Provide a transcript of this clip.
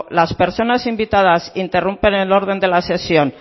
las personas invitadas interrumpen el orden de la sesión